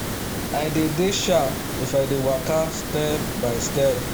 i dey dey sharp if i dey waka step by step